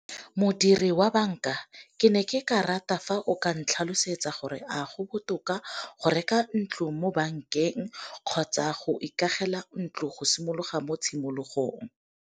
Modiri wa banka ke ne ke ka rata fa o ka ntlhalosetsa gore a go botoka go reka ntlo mo bankeng, kgotsa go ikagela ntlo go simologa mo tshimologong.